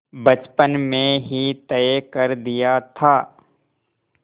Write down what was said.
बचपन में ही तय कर दिया था